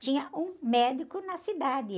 Tinha um médico na cidade.